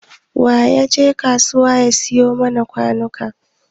Wa ya je kasuwar ya siyo mana kwanuka?